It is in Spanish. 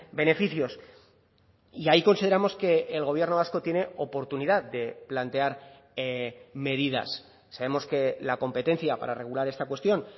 beneficios y ahí consideramos que el gobierno vasco tiene oportunidad de plantear medidas sabemos que la competencia para regular esta cuestión